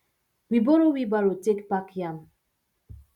we borrow wheelbarrow take pack yam